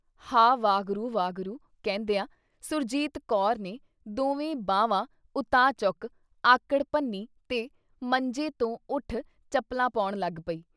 ਹਾਅ ਵਾਹਿਗੁਰੂ ਵਾਹਿਗੁਰੂ ਕਹਿੰਦਿਆਂ ਸੁਰਜੀਤ ਕੌਰ ਨੇ ਦੋਵੇਂ ਬਾਹਵਾਂ ਉਤਾਂਹ ਚੁੱਕ ਆਕੜ ਭੰਨ੍ਹੀ ਤੇ ਮੰਜੇ ਤੋਂ ਉੱਠ ਚੱਪਲਾਂ ਪੌਣ ਲੱਗ ਪਈ।